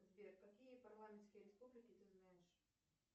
сбер какие парламентские республики ты знаешь